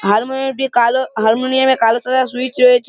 হারমোনিম -টি কালো। হারমোনিয়াম -এ কালো সাদা সুইচ রয়েছ --